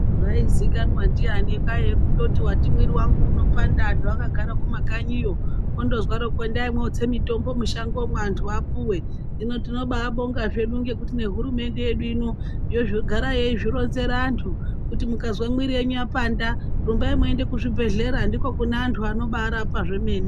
Zvaizikanwa ndiyani kwaiye kundoti wati mwiri wangu unopanda antu akagara kumakanyiyo, ondozwaro ko endai motse mitombo mushango antu apuwe. Hino tinoba bonga zvedu ngekuti nehurumende yedu ino yogara yeizvi ronzerantu kuti mukazwa mwiri yenyu yapanda rumbai muende kuzvibhedhlera ndiko kuneantu anobarapa zvemene.